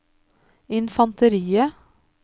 infanteriet